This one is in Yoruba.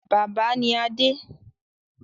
Bàbá ni Adé.